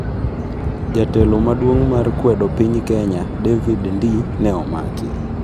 Jatelo maduong' mar kwedo piny Kenya, David Ndii, ne omaki